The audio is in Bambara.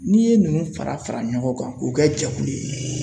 N'i ye ninnu fara fara ɲɔgɔn kan k'u kɛ jɛkulu ye.